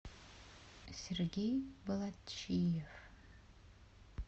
сергей болатчиев